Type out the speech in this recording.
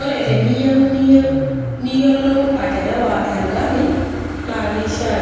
Ore teniyieu niyiolou aterewa engari naa keishiaa